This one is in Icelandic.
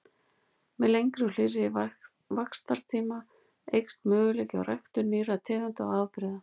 Með lengri og hlýrri vaxtartíma eykst möguleiki á ræktun nýrra tegunda og afbrigða.